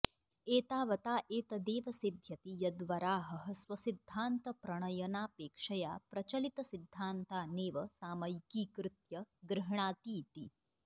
एतावता एतदेव सिध्यति यद्वराहः स्वसिद्धान्तप्रणयनापेक्षया प्रचलितसिद्धान्तानेव सामयिकीकृत्य गृह्णातीति